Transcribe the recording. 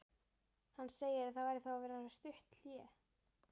Hann segir að það verði þá að vera stutt hlé.